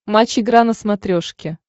матч игра на смотрешке